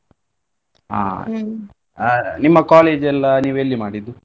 ಆ ನಿಮ್ಮ college ಎಲ್ಲಾ ನೀವ್ ಎಲ್ಲಿ ಮಾಡಿದ್ದು?